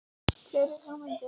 Fleiri hugmyndir?